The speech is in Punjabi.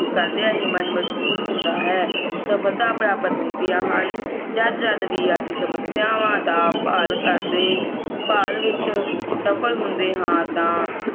ਕਰਦਿਆਂ ਹੀ ਮਨ ਮਜਬੂਤ ਹੁੰਦਾ ਹੈ ਸਫਲਤਾ ਪ੍ਰਾਪਤ ਹੁੰਦੀਆਂ ਹਨ ਜਦ ਜਦ ਵੀ ਅਸੀਂ ਸਮਸਿਆਵਾਂ ਦਾ ਭਾਲ ਕਰਦੇ ਭਾਲ ਵਿਚ ਸਫਲ ਹੁੰਦੇ ਹਾਂ ਤਾਂ